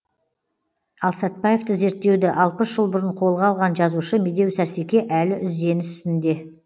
ал сәтбаевты зерттеуді алпыс жыл бұрын қолға алған жазушы медеу сәрсеке әлі үзденіс үстінде